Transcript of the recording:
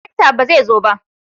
darakta ba zai zo ba?